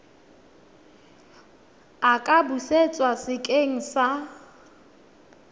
a ka busetswa sekeng sa